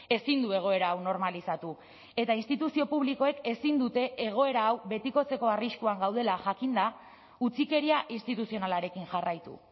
ezin du egoera hau normalizatu eta instituzio publikoek ezin dute egoera hau betikotzeko arriskuan gaudela jakinda utzikeria instituzionalarekin jarraitu